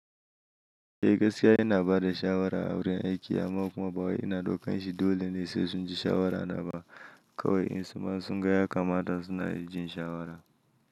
Eh gaskiya ina bada shawara a wurin aiki amma kuma ba wai ina ɗaukan shi dole ne sai sun ji shawara na ba kawai in suma sun ga yakamata suna jin shawara.